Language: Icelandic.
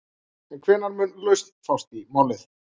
En hvenær mun lausn fást í málið?